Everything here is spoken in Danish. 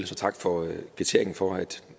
så tak for kvitteringen for